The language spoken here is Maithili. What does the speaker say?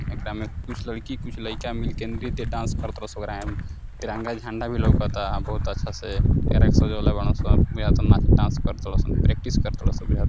एकरा में कुछ लईकी कुछ लइका मिल के नृत्य डांस करतारसन | तिरंगा झंडा भी लउकता | बहुत अच्छा से एकरा के सजवले बाड़न सन एकरा में डांस करतारसन प्रक्टिस करत बारन सन | बुझाता--